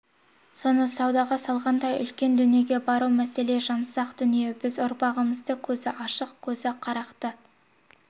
соны саудага салгандай үлкен дүниеге бару маселе жансақ дүние біз ұрпағымызды көзі ашық көзі қарақты